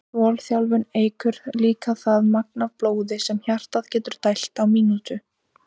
Þolþjálfun eykur líka það magn af blóði sem hjartað getur dælt á mínútu.